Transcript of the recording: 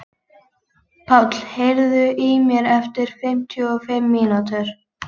Páll, heyrðu í mér eftir fimmtíu og fimm mínútur.